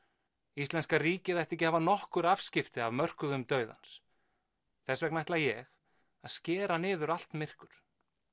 íslenska ríkið ætti ekki að hafa nokkur afskipti af mörkuðum dauðans þess vegna ætla ég að skera niður allt myrkur